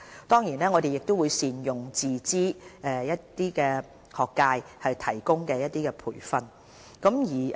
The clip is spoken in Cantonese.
當然，我們亦會善用自資界別以提供培訓。